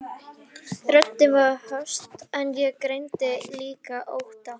Röddin var höst en ég greindi líka ótta.